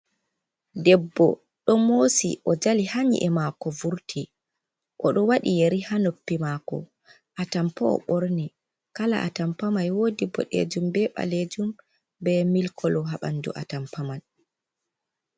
Ɗeɓɓo ɗon mosi o jali ha nyie mako vurti, oɗo waɗi yeri ha noppi mako a tampa o ɓorni, kala a tampa man woɗi ɓoɗejum ɓe ɓalejum ɓe mili kolo ha ɓanɗu a tampa man.